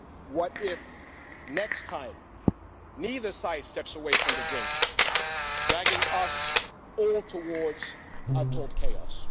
What if, next time, neither side steps away from the brink, dragging us all towards untold chaos?